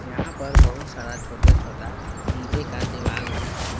यहां पर बहुत सारा छोटे छोटा ईंटे का दिवाला है।